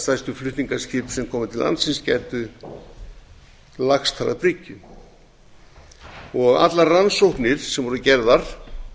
stærstu flutningaskip sem koma til landsins gætu lagst þar að bryggju allar rannsóknir sem voru gerðar